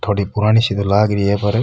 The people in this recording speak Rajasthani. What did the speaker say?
थोड़ी पुरानी सी तो लाग रही है पर --